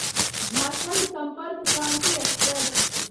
Jharkhand Sampark Kranti express